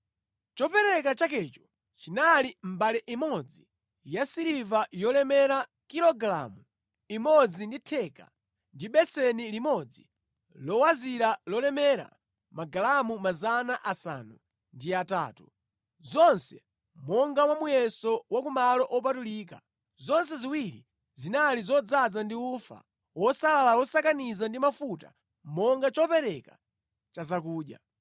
Chopereka chakecho chinali mbale imodzi yasiliva yolemera kilogalamu imodzi ndi theka ndi beseni limodzi lowazira lolemera magalamu 800, zonse monga mwa muyeso wa ku malo opatulika; zonse ziwiri zinali zodzaza ndi ufa wosalala wosakaniza ndi mafuta monga chopereka cha zakudya;